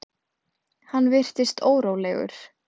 Hann virtist órólegur.